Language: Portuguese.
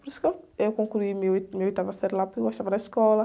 Por isso que eu, eu concluí a minha, minha oitava série lá, porque eu gostava da escola.